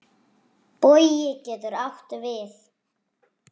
Bogi getur átt við